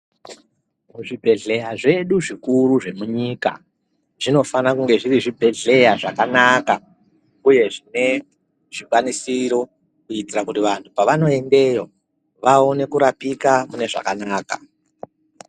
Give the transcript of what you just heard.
Kuzvi bhehleya zvedu zvikuru zvemunyika zvinofana kunge zvri zvibhehleya zvakanaka uye zvine zvikwanisiro kuitira kuti vantu pavanoendeyo vaone kurapika mune zvakanaka.